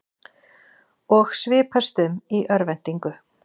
Og svipast um í örvæntingu.